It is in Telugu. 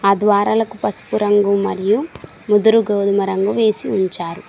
ఆ ద్వారాలకు పసుపు రంగు మరియు ముదురు గోధుమ రంగు వేసి ఉంచారు.